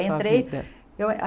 Entrei Sua vida? Eu a